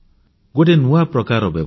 ଗୋଟେ ନୂଆ ପ୍ରକାରର ବ୍ୟବସ୍ଥା